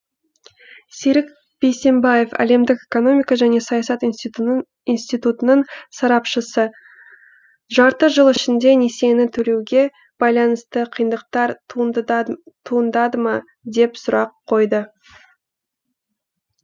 серік бейсембаев әлемдік экономика және саясат институтының сарапшысы жарты жыл ішінде несиені төлеуге байланысты қиындықтар туындады ма деп сұрақ қойдық